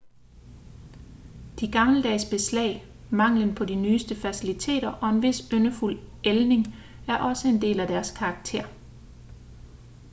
de gammeldags beslag manglen på de nyeste faciliteter og en vis yndefuld ældning er også en del af deres karakter